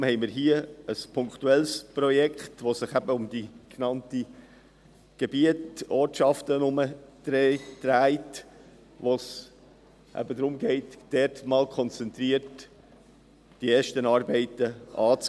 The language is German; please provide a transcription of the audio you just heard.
Deshalb haben wir hier ein punktuelles Projekt, welches sich um die genannten Gebiete, Ortschaften dreht, wo es darum geht, dort einmal konzentriert die ersten Arbeiten anzugehen.